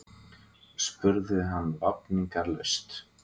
spurði hann vafningalaust.